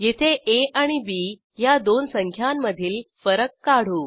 येथे आ आणि बी ह्या दोन संख्यांमधील फरक काढू